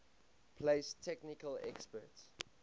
place technical experts